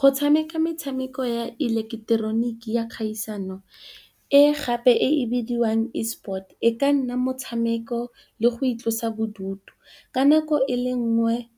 Go tshameka metshameko ya ileketeroniki ya kgaisano, e gape e bidiwang E-sport e ka nna motshameko le go itlosa bodutu ka nako e le nngwe.